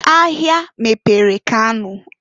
Ahia mepere Kano.